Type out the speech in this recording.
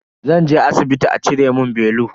Zan je asibiti a cire mun belu.